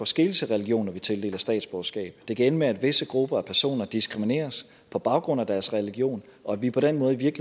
skele til religion når vi tildeler statsborgerskab det kan ende med at visse grupper af personer diskrimineres på baggrund af deres religion og at vi på den måde i